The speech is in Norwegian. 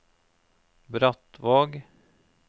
Brattvåg